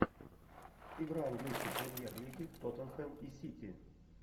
игра английской премьер лиги тоттенхэм и сити